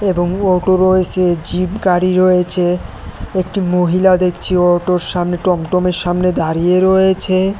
এবং অটো রয়েছে জিপ গাড়ি রয়েছে একটি মহিলা দেখছি অটোর সামনে টমটমের সামনে দাঁড়িয়ে রয়েছে।